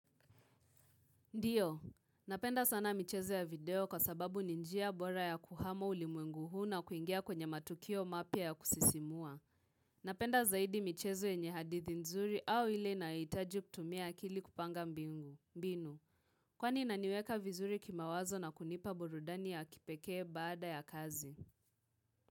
Ndiyo, napenda sana michezo ya video kwa sababu ninjia bora ya kuhama ulimwengu huu na kuingia kwenye matukio mapya ya kusisimua. Napenda zaidi michezo enye hadithi nzuri au ili na itaju kutumia akili kupanga mbingu, binu. Kwani inaniweka vizuri kimawazo na kunipa burudani ya kipekee baada ya kazi.